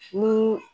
Ni